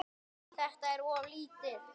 Þetta er of lítið.